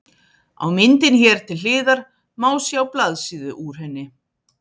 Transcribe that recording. Á myndinni hér til hliðar má sjá blaðsíðu úr henni.